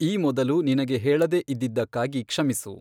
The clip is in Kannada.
ಈ ಮೊದಲು ನಿನಗೆ ಹೇಳದೇ ಇದ್ದಿದ್ದಕ್ಕಾಗಿ ಕ್ಷಮಿಸು.